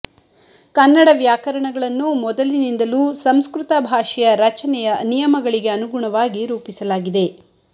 ಕನ್ನಡ ವ್ಯಾಕರಣಗಳನ್ನು ಮೊದಲಿನಿಂದಲೂ ಸಂಸ್ಕೃತ ಭಾಷೆಯ ರಚನೆಯ ನಿಯಮಗಳಿಗೆ ಅನುಗುಣವಾಗಿ ರೂಪಿಸಲಾಗಿದೆ